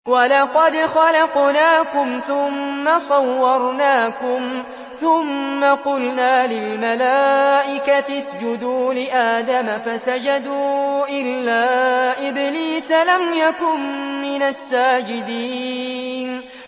وَلَقَدْ خَلَقْنَاكُمْ ثُمَّ صَوَّرْنَاكُمْ ثُمَّ قُلْنَا لِلْمَلَائِكَةِ اسْجُدُوا لِآدَمَ فَسَجَدُوا إِلَّا إِبْلِيسَ لَمْ يَكُن مِّنَ السَّاجِدِينَ